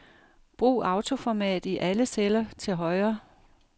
Brug autoformat i alle celler til højre.